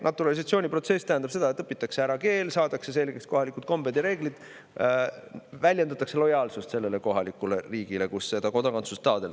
Naturalisatsiooniprotsess tähendab seda, et õpitakse ära keel, saadakse selgeks kohalikud kombed ja reeglid ning väljendatakse lojaalsust sellele riigile, kus kodakondsust taotletakse.